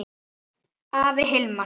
Afi Hilmar.